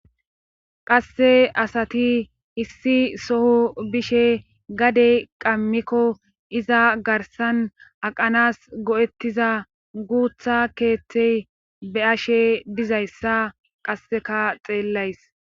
qasse asati issi soho bishe gadey qammikko iza garsan aqanas go7ettiza guutha keeththey be ashe dizayssa qasseka xeellays